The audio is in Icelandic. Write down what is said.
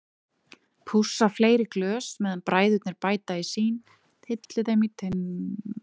Pússa fleiri glös meðan bræðurnir bæta í sín, tylli þeim í teinrétta röð á borðið.